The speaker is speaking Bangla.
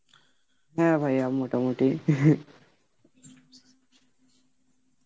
হ্যাঁ ভাইয়া মোটা মুটি